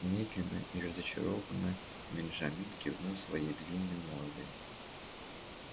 медленно и разочарованно бенджамин кивнул своей длинной мордой